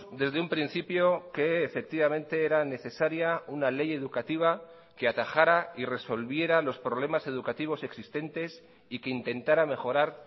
desde un principio que efectivamente era necesaria una ley educativa que atajara y resolviera los problemas educativos existentes y que intentara mejorar